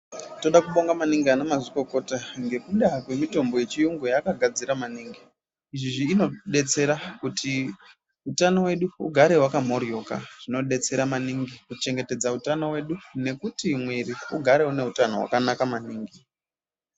Toda kubonga maningi anamazvikokota, ngekuda kwemitombo yechiyungu yaakagadzira maningi. Izvizvi inotibetsera kuti utano wedu ugare wakamhoryoka, zvinodetsera maningi kuchengetedza utano wedu nekuti mwiri ugare une utano wakanaka maningi.